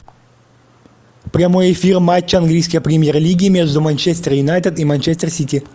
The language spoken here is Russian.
прямой эфир матча английской премьер лиги между манчестер юнайтед и манчестер сити